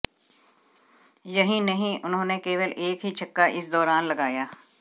यहीं नहीं उन्होंने केवल एक ही छक्का इस दौरान लगाया